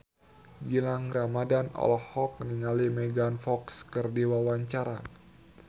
Gilang Ramadan olohok ningali Megan Fox keur diwawancara